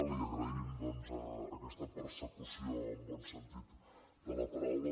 li agraïm doncs aquesta persecució en el bon sentit de la paraula